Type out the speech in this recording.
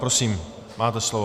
Prosím, máte slovo.